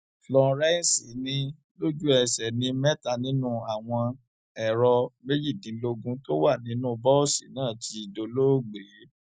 florence ni lójúẹsẹ ní mẹta nínú àwọn ẹrọ méjìdínlógún tó wà nínú bọọsì náà ti dolóògbé